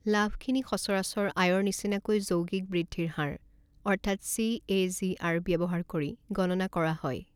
লাভখিনি সচৰাচৰ আয়ৰ নিচিনাকৈ যৌগিক বৃদ্ধিৰ হাৰ, অৰ্থাৎ চিএজিআৰ ব্যৱহাৰ কৰি গণনা কৰা হয়।